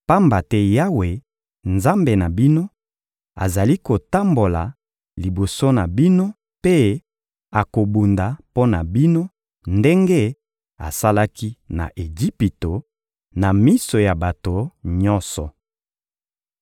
pamba te Yawe, Nzambe na bino, azali kotambola liboso na bino mpe akobunda mpo na bino ndenge asalaki na Ejipito, na miso ya bato nyonso.